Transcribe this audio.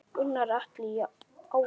Gunnar Atli: Í ágúst?